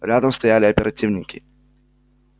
рядом стояли оперативники